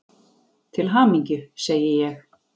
Til hamingju, segi ég.